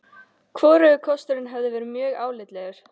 Hvorugur kosturinn hefði verið mjög álitlegur.